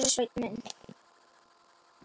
Elsku Sveinn minn.